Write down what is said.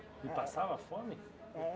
E passava fome? É